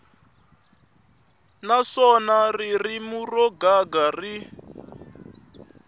naswona ririmi ro gega ri